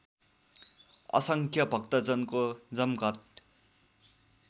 असङ्ख्य भक्तजनको जमघट